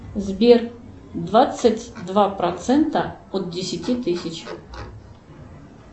сбер двадцать два процента от десяти тысяч